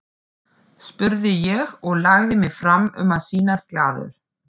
spurði ég og lagði mig fram um að sýnast glaður.